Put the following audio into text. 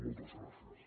moltes gràcies